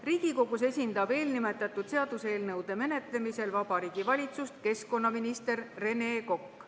Riigikogus esindab eelnimetatud seaduseelnõude menetlemisel Vabariigi Valitsust keskkonnaminister Rene Kokk.